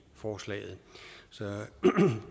forslaget